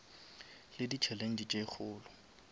le di challenge tše kgolo